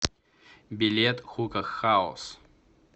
билет хука хаус